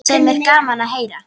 Sem er gaman að heyra.